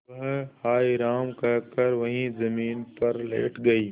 वह हाय राम कहकर वहीं जमीन पर लेट गई